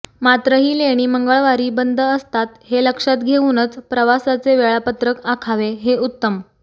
मात्र ही लेणी मंगळवारी बंद असतात हे लक्षात घेऊनच प्रवासाचे वेळापत्रक आखावे हे उत्तम